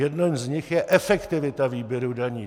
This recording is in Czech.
Jeden z nich je efektivita výběru daní.